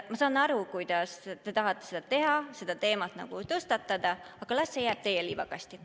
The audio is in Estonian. Ma saan aru, et te tahate seda teha, seda teemat tõstatada, aga las see jääb teie liivakasti.